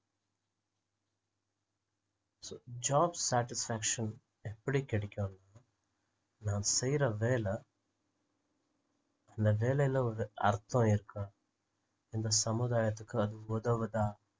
so job satisfaction எப்படி கிடைக்கும் நாம செய்யுற வேலை அந்த வேலைல ஒரு அர்த்தம் இருக்கா இந்த சமுதாயத்துக்கு அது உதவுதா